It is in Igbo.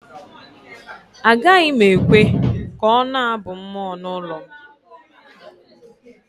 Agaghị m ekwe ka ọ na-abụ mmụọ n’ụlọ m